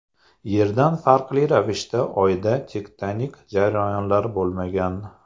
Yerdan farqli ravishda Oyda tektonik jarayonlar bo‘lmagan.